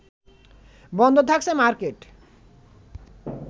বন্ধ থাকছে মার্কেট